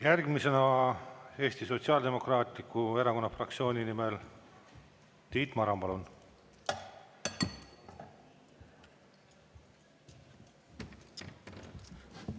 Järgmisena Eesti Sotsiaaldemokraatliku Erakonna fraktsiooni nimel Tiit Maran, palun!